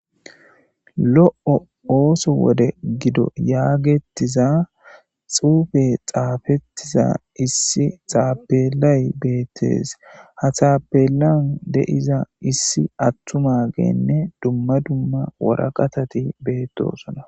lo7o ooso wode gido yaagettiza xuufe xaafettiza issi xaabelay beettes ha txaabelan de7iza issi attu magenne dumma dumma woraqatati beettosona